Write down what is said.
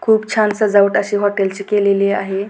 खूप छान सजावट अशी हॉटेलची केलेली आहे.